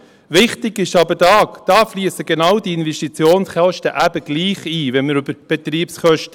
Wichtig ist aber, wenn man über die Betriebskosten spricht, fliessen genau die Investitionskosten eben gleichwohl ein.